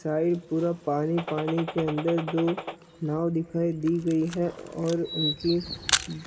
side पूरा पानी पानी के अंदर दो नाव दिखाई दी गई है और उनकी--